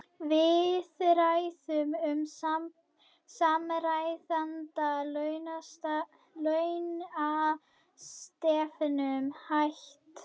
Viðræðum um samræmda launastefnu hætt